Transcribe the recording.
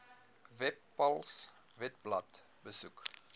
webpals webblad besoek